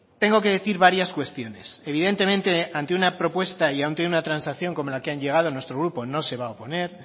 tengo que decir varias cuestiones evidentemente ante una propuesta y ante una transacción como la que han llegado nuestro grupo no se va a oponer